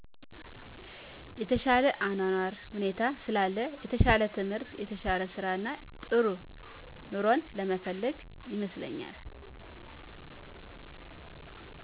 የተሻለ የአኗኗር ሁኔታ ስላለ የተሻለ ትምህር የተሻለ ስራእና ጥሩ ኑሮን በመፈለግ ይመስለኛል